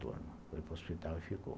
Foi para o hospital e ficou.